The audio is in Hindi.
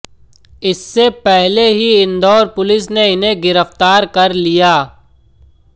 इससे पहले ही इंदाैर पुलिस ने इन्हें गिरफ्तार कर लिया